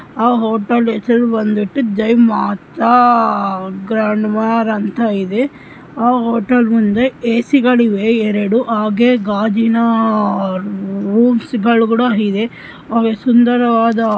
ಆ ಹೋಟೆಲ್ ಹೆಸರು ಬಂದ್ಬಿಟ್ಟು ಜೈ ಮಾತಾ ಗ್ರಂದ್ವಾರ್ ಅಂತ ಇದೆ. ಆ ಹೋಟೆಲ್ ಮುಂದೆ ಎ ಸೀ ಗಳು ಇವೆ ಹಾಗೆ ಗಾಜಿನ ರೂಮ್ಸ್ ಗಳ್ ಕೂಡ ಇವೆ. ಅವ ಸೌಂದರವಾದ--